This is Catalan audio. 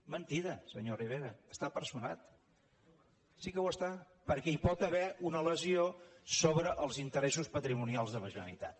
és mentida senyor rivera hi està personada sí que hi està perquè hi pot haver una lesió sobre els interessos patrimonials de la generalitat